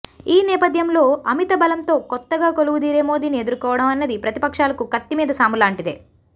ఈ నేపథ్యంలో అమిత బలంతో కొత్తగా కొలువుదీరే మోదీని ఎదుర్కోవడం అన్నది ప్రతిపక్షాలకు కత్తిమీద సాములాంటిదే